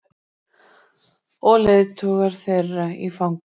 Og leiðtogar þeirra í fangelsi.